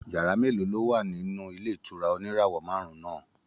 Yàrá mélòó ló wà nínú ilé ìtura oníràwọ̀ márùn-ún náà?